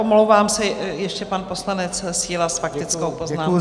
Omlouvám se, ještě pan poslanec Síla s faktickou poznámkou, prosím.